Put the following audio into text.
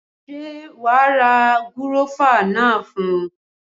Ṣé wa ra gúrọ́fà náà fún?